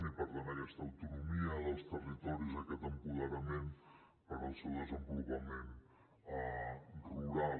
i per tant aquesta autonomia dels territoris aquest apoderament per al seu desenvolupament rural